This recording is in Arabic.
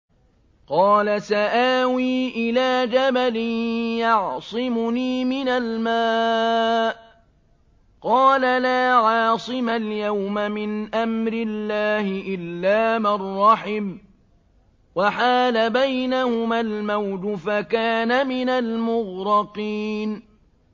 قَالَ سَآوِي إِلَىٰ جَبَلٍ يَعْصِمُنِي مِنَ الْمَاءِ ۚ قَالَ لَا عَاصِمَ الْيَوْمَ مِنْ أَمْرِ اللَّهِ إِلَّا مَن رَّحِمَ ۚ وَحَالَ بَيْنَهُمَا الْمَوْجُ فَكَانَ مِنَ الْمُغْرَقِينَ